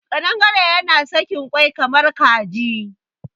Ƙadangare yana sakin kwai kamar Kaji.